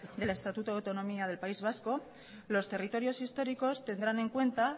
del estatuto de autonomía del país vasco los territorios históricos tendrán en cuenta